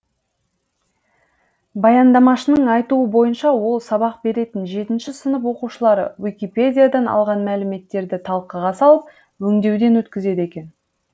баяндамашының айтуы бойынша ол сабақ беретін жетінші сынып оқушылары уикипедиядан алған мәліметтерін талқыға салып өңдеуден өткізеді екен